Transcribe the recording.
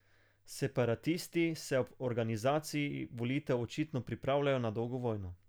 Separatisti se ob organizaciji volitev očitno pripravljajo na dolgo vojno.